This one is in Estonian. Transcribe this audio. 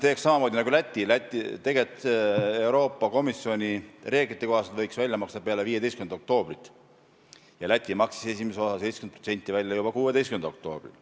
Tegelikult me võiksime Euroopa Komisjoni reeglite kohaselt raha välja maksta peale 15. oktoobrit ja Läti maksis esimese osa, 70%, välja juba 16. oktoobril.